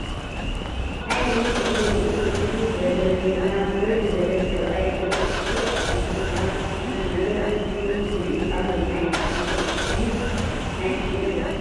ናይ ቕድሚት ፀጉሪ ርእሱ እትው ዝበለ ወይ ድማ ብርሕ ዝበለ ሰብኣይ ገፁ እስር ኣቢሉ ናብ ዝኾነ ነገር ኣትኪሩ ይሪኢ ኣሎ ናይ ኣድናቖት ድዩስ ናይ ጭንቐት